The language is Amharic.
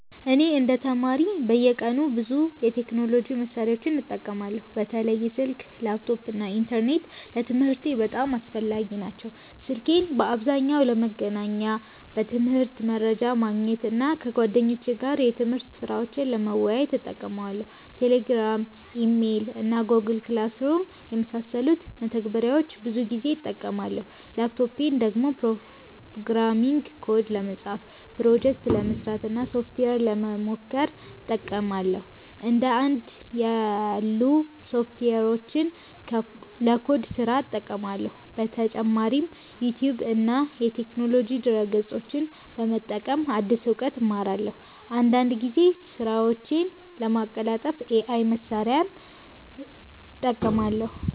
እኔ እንደ ተማሪ በየቀኑ ብዙ የቴክኖሎጂ መሳሪያዎችን እጠቀማለሁ። በተለይ ስልክ፣ ላፕቶፕ እና ኢንተርኔት ለትምህርቴ በጣም አስፈላጊ ናቸው። ስልኬን በአብዛኛው ለመገናኛ፣ ለትምህርት መረጃ ማግኘት እና ከጓደኞቼ ጋር የትምህርት ስራዎችን ለመወያየት እጠቀማለሁ። Telegram፣ Email እና Google Classroom የመሳሰሉ መተግበሪያዎችን ብዙ ጊዜ እጠቀማለሁ። ላፕቶፔን ደግሞ ፕሮግራሚንግ ኮድ ለመጻፍ፣ ፕሮጀክት ለመስራት እና ሶፍትዌር ለመሞከር እጠቀማለሁ። እንደ እና ያሉ ሶፍትዌሮችን ለኮድ ስራ እጠቀማለሁ። በተጨማሪም ዩቲዩብ እና የቴክኖሎጂ ድረ-ገጾችን በመጠቀም አዲስ እውቀት እማራለሁ። አንዳንድ ጊዜም ስራዎቼን ለማቀላጠፍ AI መሳሪያዎችን እጠቀማለሁ።